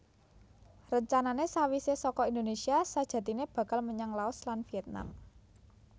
Rencanané sawisé saka Indonésia sajatiné bakal menyang Laos lan Viètnam